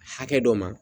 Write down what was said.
Hakɛ dɔ ma